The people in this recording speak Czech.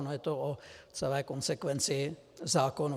Ono je to o celé konsekvenci zákonů.